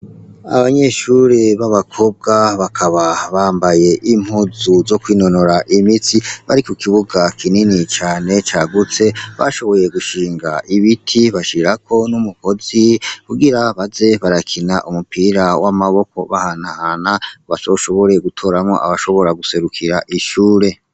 Abanyeshure b'abakobwa. Bakaba bambaye impuzu zo kwinonora imitsi. Bari ku kibuga kinini cane cagutse. Bashoboye gushinga ibiti bashirako n'umugozi kugira baze barakina umupira w'amaboko bahanahana, bazoshobore gutoramwo abashobora guserukira ishure.